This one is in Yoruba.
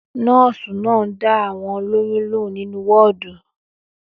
Nọ́ọ́sì náà dá àwọn olóyún lóhùn nínú wọọdù